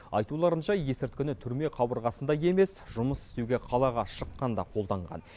айтуларынша есірткіні түрме қабырғасында емес жұмыс істеуге қалаға шыққанда қолданған